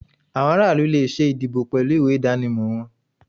Awọn ara ilu le ṣe ìdíbò pẹlu ìwé idanimọ wọn